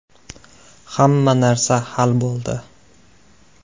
Hamma narsa hal bo‘ldi.